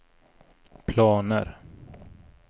planer